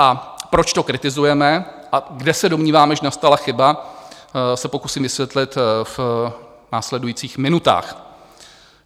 A proč to kritizujeme a kde se domníváme, že nastala chyba, se pokusím vysvětlit v následujících minutách.